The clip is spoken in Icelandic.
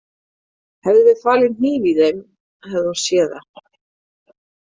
Hefðum við falið hníf í þeim hefði hún séð það.